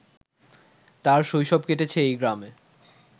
তার শৈশব কেটেছে এই গ্রামে